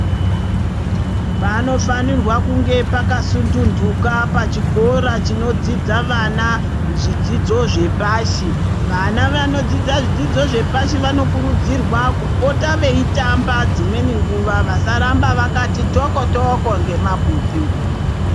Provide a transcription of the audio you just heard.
Panofanirwa kunge pakasununduka pachikora panodzidza vana zvidzidzo zvepashi vana vanodzidza zvidzidzo zvepashi vano kurudzirwa kupota veitamaba dzimweni nguva vasarambe mveyiti toko toko ne mabhuku.